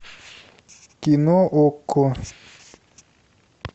кино окко